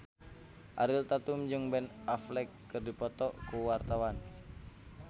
Ariel Tatum jeung Ben Affleck keur dipoto ku wartawan